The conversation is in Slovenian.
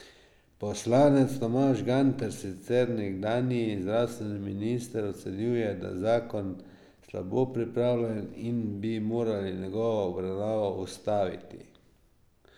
Poslanec Tomaž Gantar, sicer nekdanji zdravstveni minister, ocenjuje, da zakon slabo pripravljen in bi morali njegovo obravnavo ustaviti.